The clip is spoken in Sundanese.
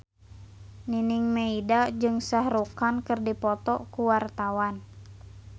Nining Meida jeung Shah Rukh Khan keur dipoto ku wartawan